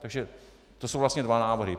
Takže to jsou vlastně dva návrhy.